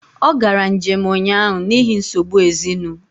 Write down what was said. Ọ gara njém ụnyaahụ n’ihi nsogbu ezinụ